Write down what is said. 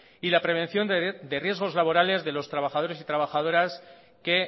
y la prevención de riesgos laborales de los trabajadores y trabajadoras que